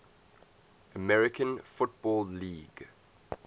american football league